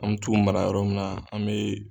An bɛ t'u mara yɔrɔ min na an bɛ